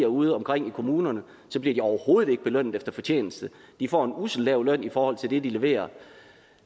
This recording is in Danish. udeomkring i kommunerne bliver de overhovedet ikke belønnet efter fortjeneste de får en usselt lav løn i forhold til det de leverer og